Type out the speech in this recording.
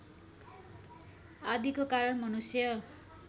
आदिको कारण मनुष्य